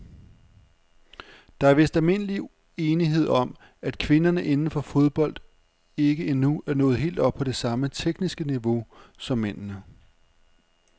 Der er vist almindelig enighed om, at kvinderne inden for fodbold ikke endnu er nået helt op på det samme tekniske niveau som mændene.